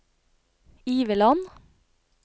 Iveland